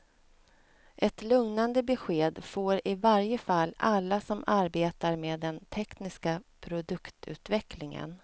Ett lugnande besked får i varje fall alla som arbetar med den tekniska produktutvecklingen.